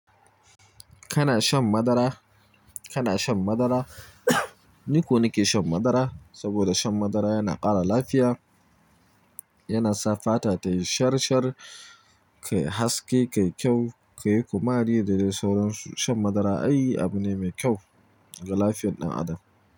Kana shan madara. Kana shan madara. Niko nike shan madara saboda shan madara yana ƙara lafiya. Yana sa fata tayi shar-shar, kayi haske, kayi kyau, kayi kuma ri. Da dai sauran su shan madara ai abi neme kyau ga lafiyar ɗan adam.